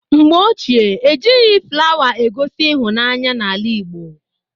Mgbe ochie, ejighị flawa egosi ịhụnanya n'ala Igbo.